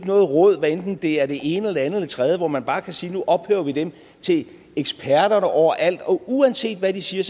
noget råd hvad enten det er det ene eller eller det tredje hvor man bare kan sige at nu ophæver vi dem til eksperterne over alt og uanset hvad de siger